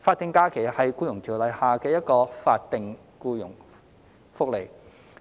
法定假日是《僱傭條例》下的一項法定僱傭福利，